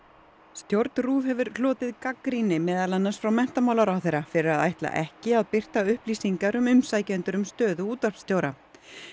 stjórn RÚV hefur hlotið gagnrýni meðal annars frá menntamálaráðherra fyrir að ætla ekki að birta upplýingar um umsækjendur um stöðu útvarpsstjóra